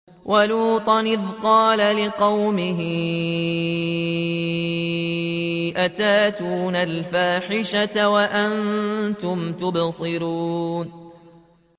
وَلُوطًا إِذْ قَالَ لِقَوْمِهِ أَتَأْتُونَ الْفَاحِشَةَ وَأَنتُمْ تُبْصِرُونَ